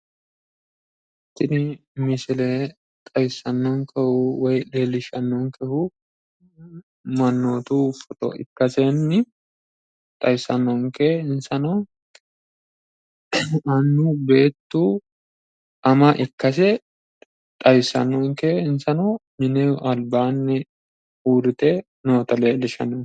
Tini misile xawisannonkehu woyi leellishshannonkehu mannootu foto ikkasenni xawissannonke. Insano annu, beettu, ama ikkase xawissannonke. Insano mimeho albaa uurrite noota leellishshanno.